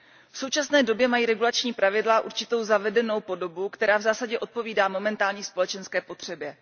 V současné době mají regulační pravidla určitou zavedenou podobu, která v zásadě odpovídá momentální společenské potřebě.